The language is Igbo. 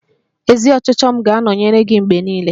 Ezi ọchịchọ m ga-anọnyere gị mgbe niile.